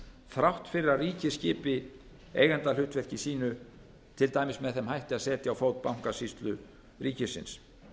þrátt fyrir að ríkið skipi eigendahlutverki sínu til dæmis með þeim hætti að setja á fót bankasýslu ríkisins